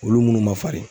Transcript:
Olu munnu ma farin